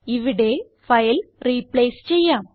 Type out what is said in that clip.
ഇവിടെ file replace ചെയ്യാം